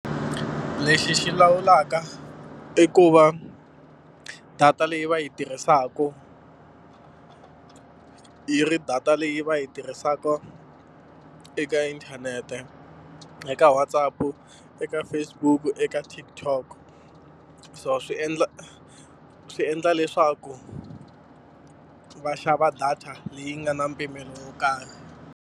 Lexi xi lawulaka i ku va data leyi va yi tirhisaka yi ri data leyi va yi tirhisaka eka inthanete, eka Whatsapp-u, eka Facebook-u, eka TikTok. So swi endla swi endla leswaku va xava data leyi nga na mpimelo wo karhi.